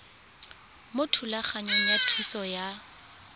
mo thulaganyong ya thuso y